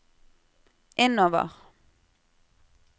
innover